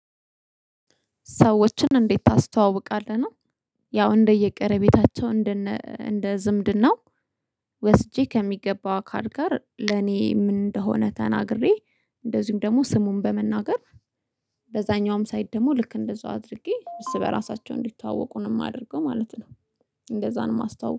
ሰዎችን እንዴት ታስተዋውቃለህ ነው? ያው እንደየቀረቤታቸው እንደ እንደ ዝምድናው ወስጄ ከሚገባው አካል ጋር ለኔ ምን እንደሆነ ተናግሬ። እንደዚሁም ደግሞ ስሙን በመናገር። በዛኛውም ሳይድ ደግሞ ልክ እንደዛው አድርጌ እርስ በራሳቸው እንዲተዋወቁ ነው እማድርገው ማለት ነው። እንደዛ ነው እማስታወ